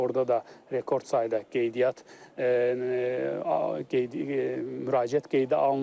Orada da rekord sayda qeydiyyat müraciət qeydə alınıb.